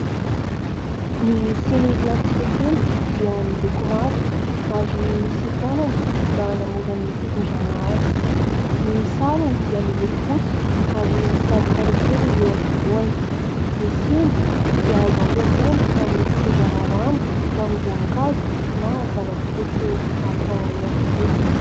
Ny siny plastika kely dia miloko mavo ary misy tanany mba hanamora ny fitondrana azy, ny sarony dia miloko fotsy ary misy lavaka roa kely eo avovoany. Ny siny dia azo ampiasaina amin'ny fitondrana zana-boankazo na zava-pisotro hafa ihany koa.